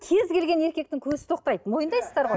кез келген еркектің көзі тоқтайды мойындайсыздар ғой